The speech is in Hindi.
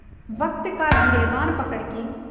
वक़्त का गिरबान पकड़ के